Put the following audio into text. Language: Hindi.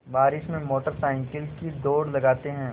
बारिश में मोटर साइकिल की दौड़ लगाते हैं